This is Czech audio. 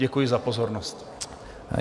Děkuji za pozornost.